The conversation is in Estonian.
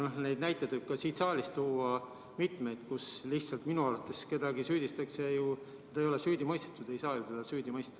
Neid näiteid võib ka siit saalist tuua, kuidas minu arvates kedagi lihtsalt süüdistatakse, kuigi ta ei ole süüdi mõistetud ja teda ei saagi süüdi mõista.